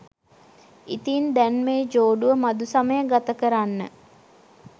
ඉතින් දැන් මේ ජෝඩුව මධුසමය ගතකරන්න